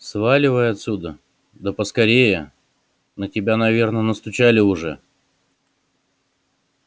сваливай отсюда да поскорее на тебя наверное настучали уже